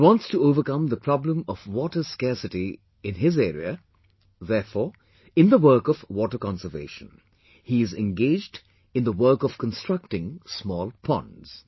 He wants to overcome the problem of water scarcity in his area; therefore, in the work of water conservation, he is engaged in the work of constructing small ponds